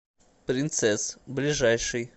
принцесс ближайший